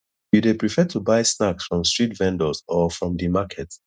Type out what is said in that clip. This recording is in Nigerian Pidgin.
you dey prefer to buy snacks from street vendors or from di market